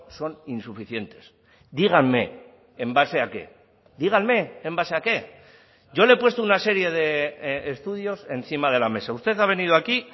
son insuficientes díganme en base a qué díganme en base a qué yo le he puesto una serie de estudios encima de la mesa usted ha venido aquí